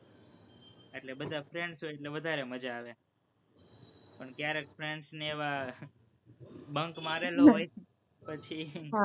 એટલે બધા friends હોય એટલે વધારે મજા આવે, પણ ક્યારેક friends ને એવા, bunk મારેલો હોય, પછી